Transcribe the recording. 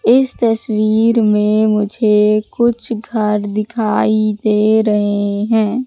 इस तस्वीर में मुझे कुछ घर दिखाई दे रहे हैं।